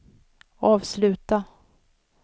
avsluta